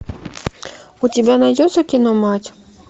у тебя найдется кино мать